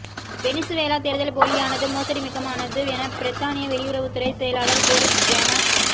Venezuela தேர்தல் போலியானதும் மோசடி மிக்கதுமானது என பிரித்தானிய வெளியுறவுத்துறை செயலாளர் போரிஸ் ஜொன